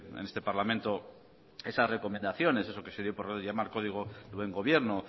este en este parlamento esas recomendaciones eso que se dio por llamar código de buen gobierno